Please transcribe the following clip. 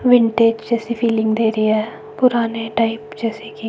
vintage जैसी feeling दे रही है पुराने टाइप जैसे की--